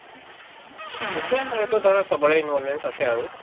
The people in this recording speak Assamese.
নিশ্চয় এইটো ধৰা চবৰে আছে আৰু